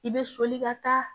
I bɛ soli ka taa